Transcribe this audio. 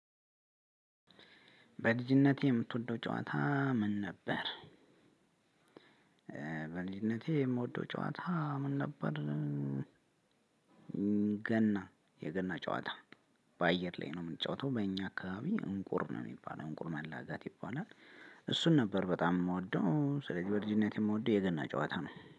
በልጅነት የምትወደው ጨዋታ ምን ነበር? በልጅነቴ የምወደው ጨዋታ ምን ነበር ገና የገና ጨዋታ በአየር ላይ ነው የምንጫወተው በእኛ አካባቢ እንቁር ነው የሚባለው እንቁር መላጋት ይባላል። እሱን ነበር በጣም የምወደው ስለዚህ በልጅነት የምወደው የገና ጨዋታ ነው።